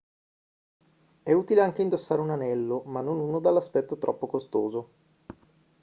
è utile anche indossare un anello ma non uno dall'aspetto troppo costoso